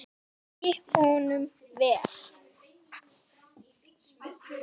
Gangi honum vel!